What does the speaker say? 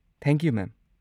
Thank you, ꯃꯦꯝ꯫